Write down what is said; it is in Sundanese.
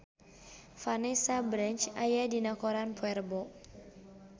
Vanessa Branch aya dina koran poe Rebo